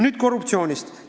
Nüüd korruptsioonist.